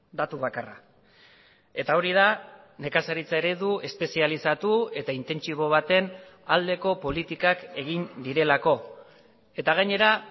datu bakarra eta hori da nekazaritza eredu espezializatu eta intentsibo baten aldeko politikak egin direlako eta gainera